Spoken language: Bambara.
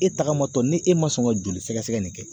E tagama tɔ ni e ma sɔn ka joli sɛgɛsɛgɛ nin kɛ.